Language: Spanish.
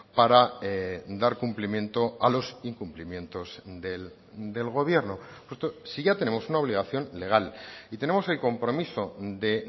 para dar cumplimiento a los incumplimientos del gobierno si ya tenemos una obligación legal y tenemos el compromiso de